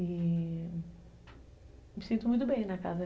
E... me sinto muito bem na casa.